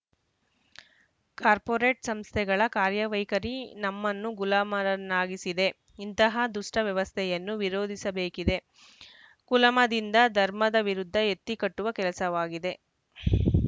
corporate ಸಂಸ್ಥೆಗಳ ಕಾರ್ಯವೈಖರಿ ನಮ್ಮನ್ನು ಗುಲಾಮರನ್ನಾಗಿಸಿದೆ ಇಂತಹ ದುಷ್ಟವ್ಯವಸ್ಥೆಯನ್ನು ವಿರೋಧಿಸಬೇಕಿದೆ ಕುಲಮದದಿಂದ ಧರ್ಮದ ವಿರುದ್ಧ ಎತ್ತಿಕಟ್ಟುವ ಕೆಲಸವಾಗಿದೆ